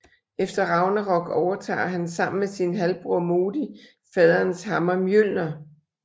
Efter Ragnarok overtager han sammen med sin halvbror Modi faderens hammer Mjølner